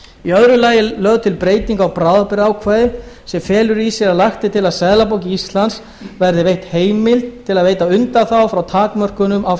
í öðru lagi er lögð til breyting á bráðabirgðaákvæði sem felur í sér að lagt er til að seðlabanka íslands verði veitt heimild til að veita undanþágur frá takmörkunum á